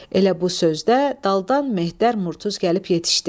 Elə bu sözdə daldan Mehter Murtuz gəlib yetişdi.